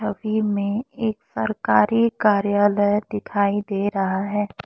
छवि में एक सरकारी कार्यालय दिखाई दे रहा है।